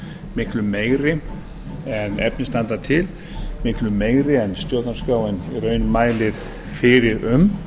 miklu meiri en efni standa til miklu meiri en stjórnarskráin í raun mælir fyrir um